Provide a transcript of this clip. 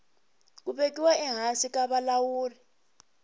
ku vekiwa ehansi ka vulawuri